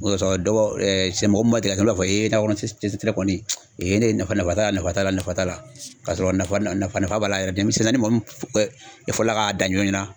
O de kɔsɔ, dɔw b'a fɔ mɔgɔ min ma deli ka kɛ, olu b'a fɔ nakɔ kɔni ne ye ne nafa nafa t'a la nafa t'a la nafa t'a la kasɔrɔ nafa b'a la yɛrɛ denmisɛnnin